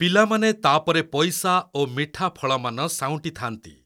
ପିଲାମାନେ ତାପରେ ପଇସା ଓ ମିଠା ଫଳମାନ ସାଉଁଟିଥାନ୍ତି।